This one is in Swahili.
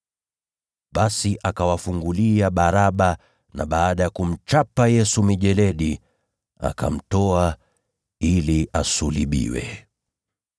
Basi akawafungulia Baraba. Lakini baada ya kuamuru Yesu achapwe mijeledi, akamtoa ili asulubishwe.